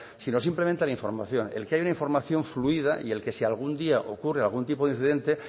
sino simplemente a la información el que haya una información fluida y el que si algún día ocurre algún tipo de incidente